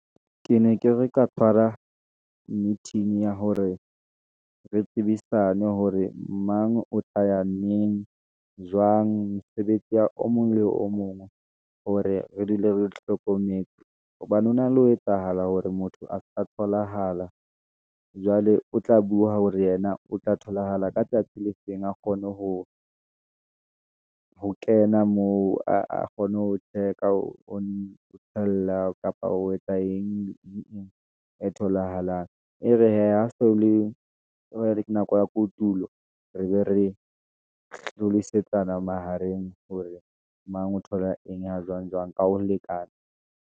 Ke ne ke re ka tshwara meeting ya hore re tsebisane, hore mang o tla ya neng, jwang mosebetsi ya o mong le o mong, hore re dule re hlokometse, hobane hona le ho etsahala hore motho a sa tholahala, jwale o tla bua hore yena o tla tholahala ka tsatsi le feng. A kgone ho ho kena moo, a kgone ho check-a, or ho tshela kapa o etsa eng le eng etholahalang, e re hee ha so le, nako ya kotulo, re be re hlalosetsana mahareng, hore mang o thola eng, ha jwang, jwang ka ho lekana.